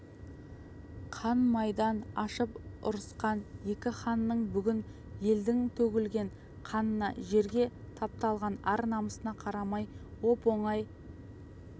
қан майдан ашып ұрысқан екі ханның бүгін елдің төгілген қанына жерге тапталған ар-намысына қарамай оп-оңай